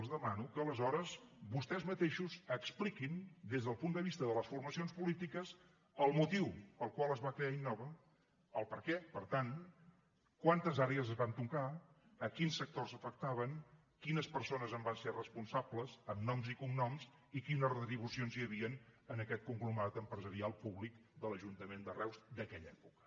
els demano que aleshores vostès mateixos expliquin des del punt de vista de les formacions polítiques el motiu pel qual es va fer innova el perquè per tant quantes àrees es van tocar a quins sectors afectaven quines persones en van ser responsables amb noms i cognoms i quines retribucions hi havien en aquest conglomerat empresarial públic de l’ajuntament de reus d’aquella època